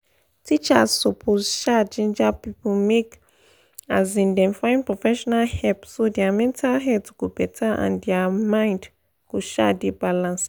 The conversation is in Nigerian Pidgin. teachers suppose um ginger people make um dem find professional help so their mental health go better and their mind go um dey balanced.